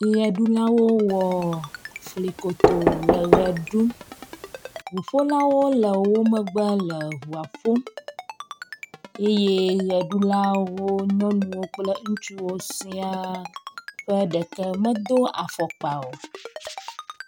Ɣeɖulawo wɔ fli kotoo le ɣeɖum, ʋuƒolawo le wo megbe le ʋuaƒom eye ɣeɖulawo nyɔnuwo kple ŋutsuwo siaa ƒe ɖeke medo afɔkpa o.